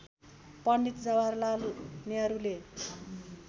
Pandit Jawaharlal नेहरुले